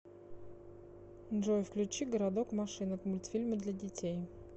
джой включи городок машинок мультфильмы для детей